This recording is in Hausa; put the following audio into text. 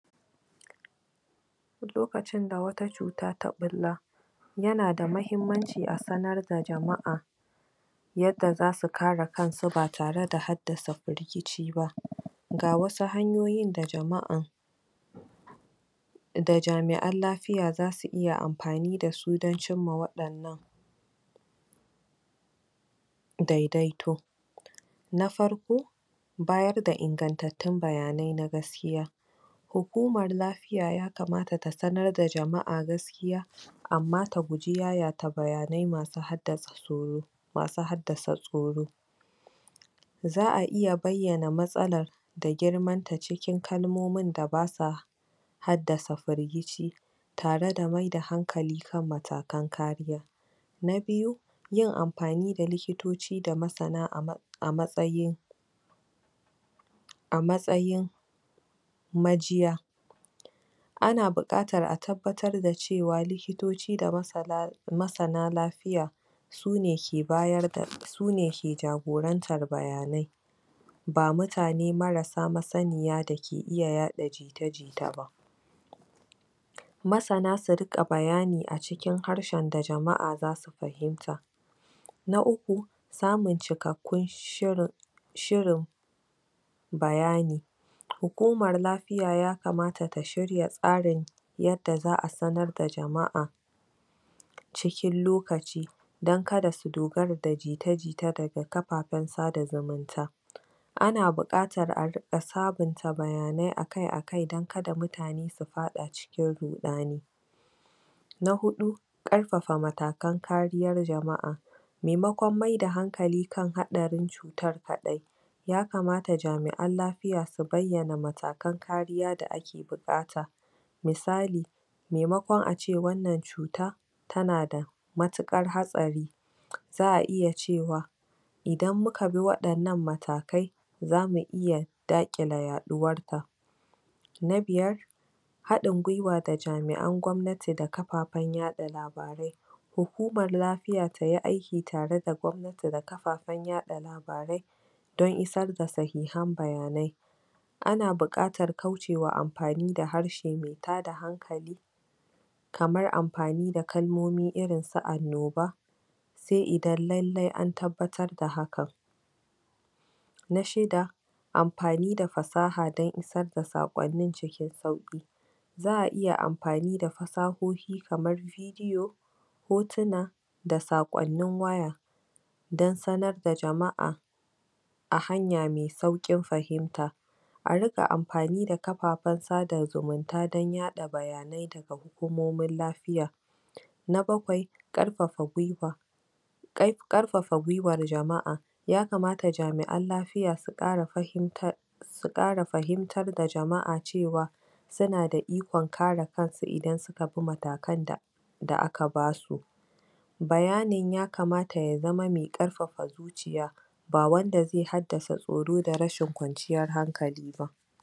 Lokacin da wata cuta ta ɓulla yana da mahimmanci a sanar da jama'a yadda za su kare kansu ba tare da haddasa firgici ba ga wasu hanyoyin da jama'a da jami'an lafiya za su iya amfani da su du don cimma waɗannan daidaito na farko bayar da ingantattun bayanai na gaskiya hukamar lafiya ya kamata ta sanar da jama'a gaskiya amma ta guji yayata bayanai masu haddasa tsoro... masu haddasa tsoro za a iya bayyana matsalar da girmanta cikin kalmomin da ba sa haddasa firgici tare da mayar da hanklali kan matakan kariya na biyu yin amfani likitoci da masana a matsayin a matsayin majiya ana buƙatar a tabbatar da cewa lokitoci da masana masana lafiya su ne ke bayar da, su ne ke jagorantar bayanai ba mutane marasa masaniya dake iya yaɗa jita-jita ba masana su riƙa bayani a cikin harshden da jama'a za su fahimta na uku samun cikakkun shirin... shirin bayani hukumar lafiya ya kamata ta shirya tsarin yadda za a sanar da jama'a cikin lokaci don kada su dogara da jita-jita daga kafafen sada-zumunta ana buƙatar a riƙa sabunta bayanai a-kai-a-kai don kada mutane su faɗa cikin ruɗani na huɗu ƙarfafa matakan kariyar jama'a maimakon maida hankali kan haɗarin cutar kaɗai ya kamata jami'an lafiya su bayyana matakan kariya da ake buƙata misali maimakon ace wannan cuta tana da matuƙar hatsari za a iya cewa idan muka bi waɗannan matakai za mu iya daƙile yaɗuwar ta na biyar haɗin guiwa da jami'an gwamnati da kafafen yaɗa labarai hukumar lafiya ta yi aiki tare da gwamnati da kafafen yaɗa labarai don isar da sahihan bayanai ana buƙatar kaucewa amfani da harshe mai tada hankali kamar amfani da kalmomi irin su annoba sai idan lallai an tabbatar da hakan na shida amfani da fasaha don isar da saƙonnin cikin sauƙi za a iya amfani da fasahohi kamar iyo hotuna da saƙonnin waya don sanar da jama'a a hanya mai sauƙin fahimta a riƙa amfani da kafafen sada zumunta don yaɗa bayanai daga hukumomin lafiya na bakwai ƙarfafa guiwa ƙarfafa guiwar jama'a ya kamata jami'an lafiya su ƙara fahimtar su ƙara fahimtar da jama'a cewa su na da ikon kare kansu idan suka bi matakan da da aka ba su bayanin ya kamata ya zama mai ƙarfafa zuciya